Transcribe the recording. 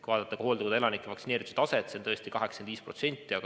Kui vaadata hooldekodu elanike vaktsineerituse taset, siis näeme, et see on 85%.